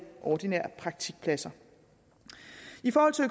ordinære praktikpladser